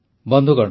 ବନ୍ଧୁଗଣ